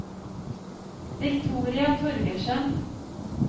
Victoria Torgersen